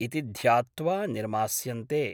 इति ध्यात्वा निर्मास्यन्ते।